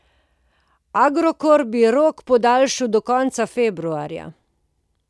Agrokor bi rok podaljšal do konca februarja.